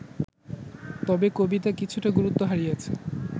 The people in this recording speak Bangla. তবে কবিতা কিছুটা গুরুত্ব হারিয়েছে